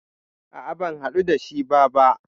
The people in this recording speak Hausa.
A'a, ban hadu da shi ba ba.